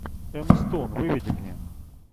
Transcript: эмма стоун выведи мне